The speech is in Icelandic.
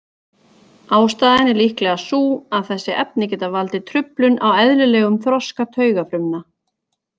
Ástæðan er líklega sú að þessi efni geta valdið truflun á eðlilegum þroska taugafrumna.